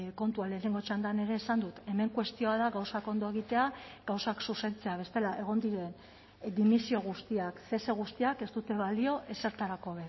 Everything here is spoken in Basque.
kontua lehenengo txandan ere esan dut hemen kuestioa da gauzak ondo egitea gauzak zuzentzea bestela egon diren dimisio guztiak cese guztiak ez dute balio ezertarako